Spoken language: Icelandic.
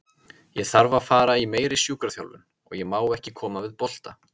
Ég þarf að fara í meiri sjúkraþjálfun og ég má ekki koma við bolta.